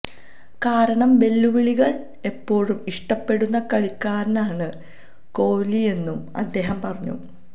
കാരണം വെല്ലുവിളികള് എപ്പോഴും ഇഷ്ടപ്പെടുന്ന കളിക്കാരനാണ് കോഹ്ലിയെന്നും അദ്ദേഹം പറഞ്ഞു